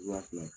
Wa fila